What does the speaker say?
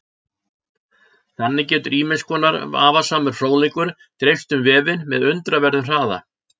Þannig getur ýmiss konar vafasamur fróðleikur dreifst um vefinn með undraverðum hraða.